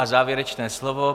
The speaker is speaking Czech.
A závěrečné slovo.